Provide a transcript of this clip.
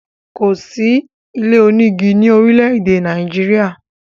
Kò sí ilé onígi ni orile-ede Nàìjíríà.